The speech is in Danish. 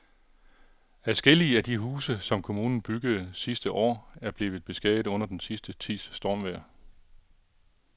Adskillige af de huse, som kommunen byggede sidste år, er blevet beskadiget under den sidste tids stormvejr.